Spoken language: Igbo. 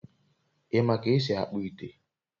i ma ka esi akpu ite?